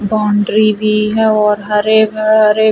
boundary भी है और हरे --